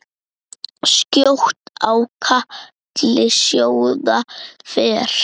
Skjótt á katli sjóða fer.